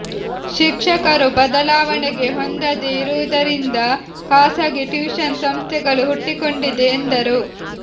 ಶಿಕ್ಷಕರು ಬದಲಾವಣೆಗೆ ಹೊಂದದೇ ಇರುವುದರಿಂದ ಖಾಸಗಿ ಟ್ಯೂಷನ್ ಸಂಸ್ಥೆಗಳು ಹುಟ್ಟಿಕೊಂಡಿದೆ ಎಂದರು